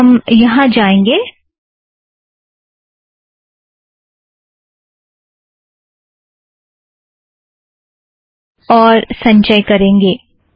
हम यहाँ जाएंगें और संचय करेंगे